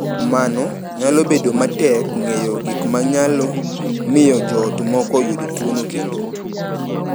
Kuom mano, nyalo bedo matek ng’eyo gik ma nyalo miyo joot moko oyud tuwono kendo.